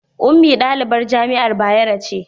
Ummi ɗalibin jami'ar Bayero ce